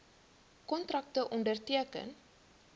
kontrakte onderteken